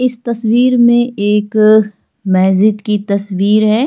इस तस्वीर में एक मैहजिद की तस्वीर है।